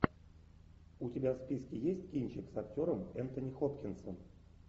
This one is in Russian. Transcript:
у тебя в списке есть кинчик с актером энтони хопкинсом